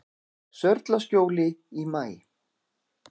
Sörlaskjóli í maí